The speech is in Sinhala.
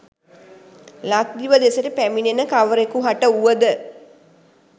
ලක්දිව දෙසට පැමිණෙන කවරෙකුහට වුවද